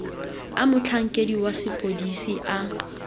a motlhankedi wa sepodisi a